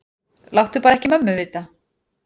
Láttu bara ekki mömmu vita.